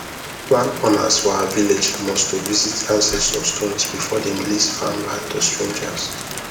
landowners for our village must to visit ancestor stones before them lease farmland to strangers